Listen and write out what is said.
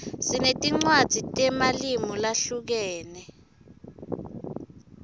sinetinwadzi temalimu zahlukeme